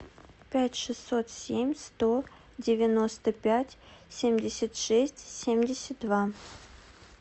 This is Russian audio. пять шестьсот семь сто девяносто пять семьдесят шесть семьдесят два